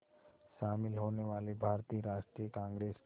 शामिल होने वाले भारतीय राष्ट्रीय कांग्रेस के